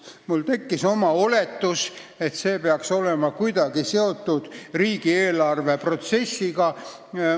Mul tekkis oletus, et see peaks olema kuidagi seotud riigieelarve protsessiga.